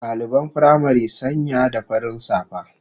Daliban firamari sanya da farin safa